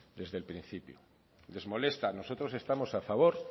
desde el principio les molesta nosotros estamos a favor